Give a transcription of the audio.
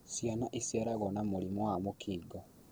Ciana iciaragwo na mũrimũ wa mũkingo